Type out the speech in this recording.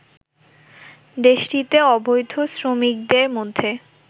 দেশটিতে অবৈধ শ্রমিকদের মধ্যে